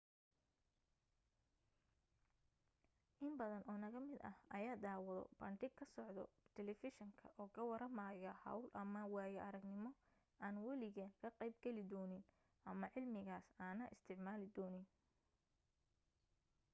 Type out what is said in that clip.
in badan oo naga mid ah ayaa daawado bandhig ka socdo telefishinka oo ka waramaayo hawl ama waayo aragnimo aan waligeen ka qayb gali doonin ama cilmigaas aana isticmaali doonin